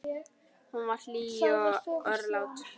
Hún var hlý og örlát.